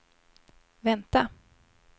vänta